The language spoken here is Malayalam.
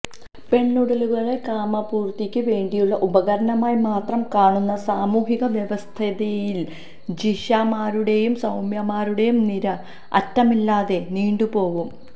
പെണ്ണുടലുകളെ കാമപൂര്ത്തിക്ക് വേണ്ടിയുള്ള ഉപകരണമായി മാത്രം കാണുന്ന സാമൂഹിക വ്യവസ്ഥിതിയില് ജിഷമാരുടെയും സൌമ്യമാരുടെയും നിര അറ്റമില്ലാതെ നീണ്ടുപോവും